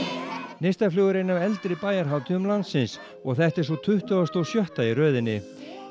neistaflug er ein af eldri bæjarhátíðum landsins og þetta er sú tuttugasta og sjötta í röðinni